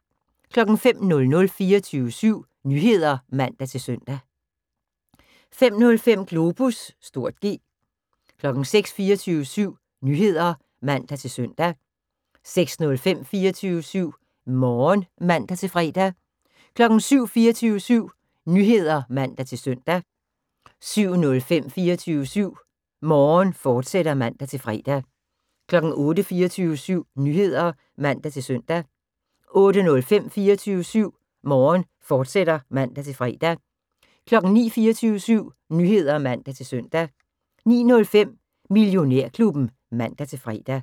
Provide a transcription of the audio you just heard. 05:00: 24syv Nyheder (man-søn) 05:05: Globus (G) 06:00: 24syv Nyheder (man-søn) 06:05: 24syv Morgen (man-fre) 07:00: 24syv Nyheder (man-søn) 07:05: 24syv Morgen, fortsat (man-fre) 08:00: 24syv Nyheder (man-søn) 08:05: 24syv Morgen, fortsat (man-fre) 09:00: 24syv Nyheder (man-søn) 09:05: Millionærklubben (man-fre)